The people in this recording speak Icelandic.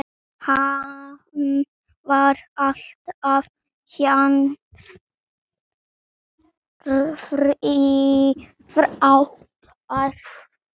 Hann var alltaf jafn frábær.